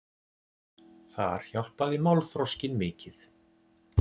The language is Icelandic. Þar hjálpaði málþroskinn mikið.